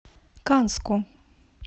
канску